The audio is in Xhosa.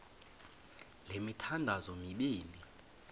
le mithandazo mibini